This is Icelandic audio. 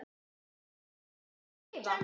Ævisögu hans þarf að skrifa.